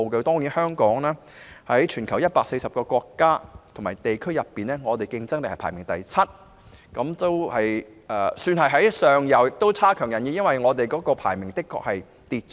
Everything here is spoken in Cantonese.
在全球140個國家及地區，香港的競爭力排名第七，算是躋身前列位置，但亦差強人意，因為排名較之前下跌了。